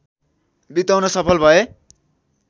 बिताउन सफल भए